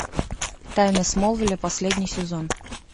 тайны смолвиля последний сезон